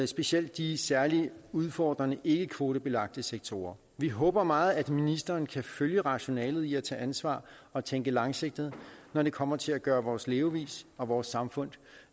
specielt de særlig udfordrende ikkekvotebelagte sektorer vi håber meget at ministeren kan følge rationalet i at tage ansvar og tænke langsigtet når det kommer til at gøre vores levevis og vores samfund